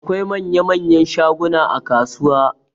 Akwai manya-manyan shaguna a kasuwa.